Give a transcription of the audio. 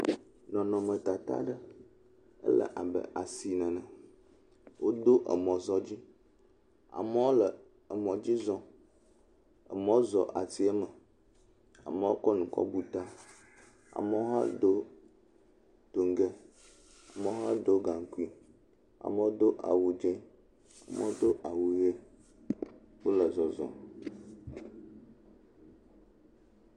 Nɔnɔme tata le abe asime ene. Wodo emɔ zɔ dzi. Amewo le emɔ dzi zɔm. Amewo zɔ asiame. Amewo kɔ nu kɔ bu ta. Amewo hã Do toŋge. Amewo hã ɖo gankui. Amewo do awu tse. Amewo do awu ɣi. Wòle zɔzɔm.